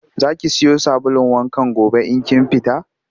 Za ki siyo sabulun wankan gobe in kin fita?